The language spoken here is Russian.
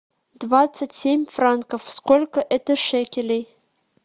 двадцать семь франков сколько это шекелей